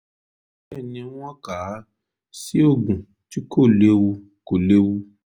bẹ́ẹ̀ ni wọ́n kà á sí oògùn tí kò léwu kò léwu